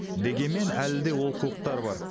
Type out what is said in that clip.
дегенмен әлі де олқылықтар бар